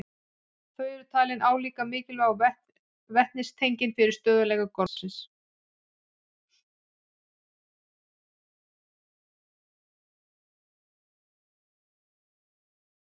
Þau eru talin álíka mikilvæg og vetnistengin fyrir stöðugleika gormsins.